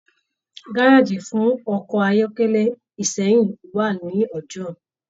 Gárájí fún ọkọ ayọkẹlẹ Ìsẹ́yìn wà ní Ọjọọ.